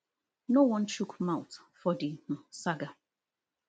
no wan chook mouth for di um saga